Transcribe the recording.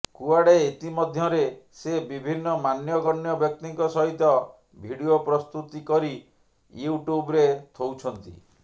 କୁଆଡ଼େ ଇତିମଧ୍ୟରେ ସେ ବିଭିନ୍ନ ମାନ୍ୟଗଣ୍ୟ ବ୍ୟକ୍ତିଙ୍କ ସହିତ ଭିଡିଓ ପ୍ରସ୍ତୁତି କରି ୟୁଟ୍ୟୁବ୍ରେ ଥୋଉଛନ୍ତି